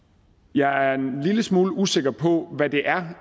jeg er en lille smule usikker på hvad det er